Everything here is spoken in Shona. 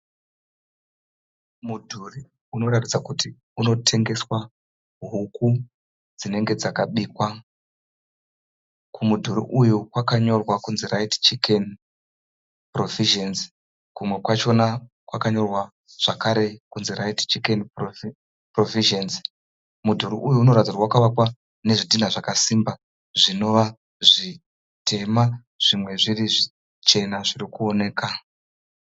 Mudhuri unoratidza kuti unotengeswa huku dzinenge dzakabikwa. Kumudhuri uyu kwakanyorwa kunzi Rite Chicken Provisions. Kumwe kwachona kwakanyora zvakare kunzi Rite Chicken Provisions. Mudhuri uyu unoratidza kuti vakavakwa nezvidhina zvakasimba zvinova zvitema zvimwe zviri zvichena zviri kuoneka.